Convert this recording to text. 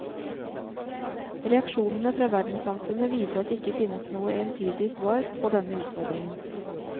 Reaksjonene fra verdenssamfunnet viser at det ikke finnes noe entydig svar pådenne utfordringen.